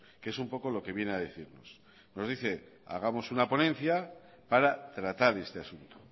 que es un poco lo que viene a decirnos nos dice hagamos una ponencia para tratar este asunto